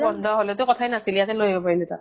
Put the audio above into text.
বন্ধ হʼলে তো কথা য়ে নাছিল, ইয়াতে লৈ আহিব পাৰিলো হয় তাক